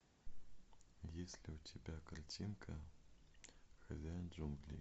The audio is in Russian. есть ли у тебя картинка хозяин джунглей